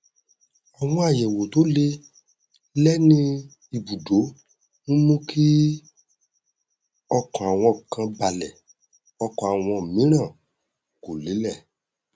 àwọn àyẹwò to lé lẹ ní ìbùdó n mú kí ọkàn àwọn kan balẹ ọkàn àwọn mìíràn kò lélẹ